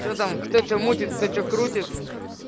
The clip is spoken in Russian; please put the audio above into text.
что там кто что мутит кто что крутит